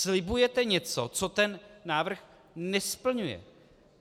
Slibujete něco, co ten návrh nesplňuje.